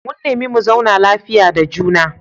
Mun nemi mu zauna lafiya da juna.